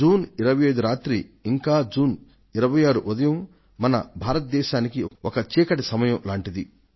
June 25 రాత్రి ఇంకా June 26 ఉదయం మన భారతదేశానికి ఒక చీకటి సమయం లాంటిది